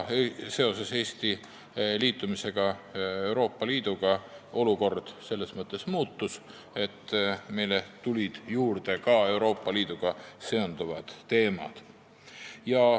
Seoses Eesti astumisega Euroopa Liitu olukord selles mõttes muutus, et lisandusid Euroopa Liiduga seonduvad teemad.